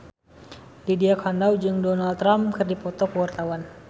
Lydia Kandou jeung Donald Trump keur dipoto ku wartawan